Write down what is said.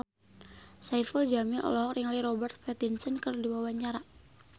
Saipul Jamil olohok ningali Robert Pattinson keur diwawancara